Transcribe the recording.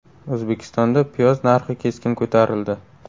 O‘zbekistonda piyoz narxi keskin ko‘tarildi.